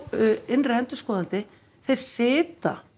innri endurskoðandi þeir sitja